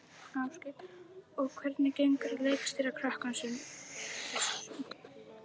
Ásgeir: Og hvernig gengur að leikstýra krökkum sem þessu?